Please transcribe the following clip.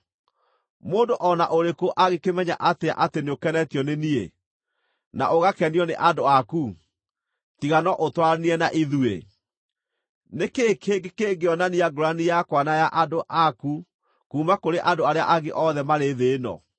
Mũndũ o na ũrĩkũ angĩkĩmenya atĩa atĩ nĩũkenetio nĩ niĩ, na ũgakenio nĩ andũ aku, tiga no ũtwaranire na ithuĩ? Nĩ kĩĩ kĩngĩ kĩngĩonania ngũũrani yakwa na ya andũ aku kuuma kũrĩ andũ arĩa angĩ othe marĩ thĩ ĩno?”